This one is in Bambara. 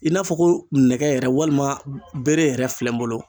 I n'a fɔ ko nɛgɛ yɛrɛ walima bere yɛrɛ filɛ n bolo.